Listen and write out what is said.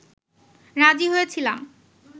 রাজি হয়েছিলাম